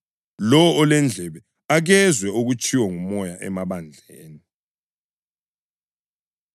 Lowo olendlebe, akezwe okutshiwo nguMoya emabandleni.”